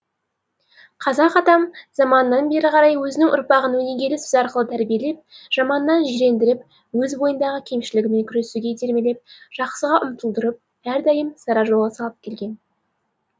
қазақ атам заманнан бері қарай өзінің ұрпағын өнегелі сөз арқылы тәрбиелеп жаманнан жирендіріп өз бойындағы кемшілігімен күресуге итермелеп жақсыға ұмтылдырып әрдайым сара жолға салып келген